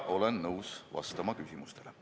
Olen nõus vastama küsimustele.